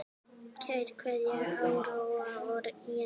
Kær kveðja, Áróra og Jenný.